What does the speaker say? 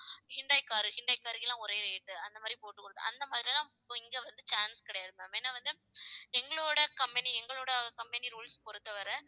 Hyundai car Hyundai car க்கு எல்லாம் ஒரே rate அந்த மாதிரி போட்டுக் கொடுத்து அந்த மாதிரியெல்லாம் இப்போ இங்கே வந்து chance கிடையாது ma'am ஏன்னா வந்து எங்களோட company எங்களோட company rules பொறுத்தவரை